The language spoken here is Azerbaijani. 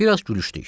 Bir az gülüşdük.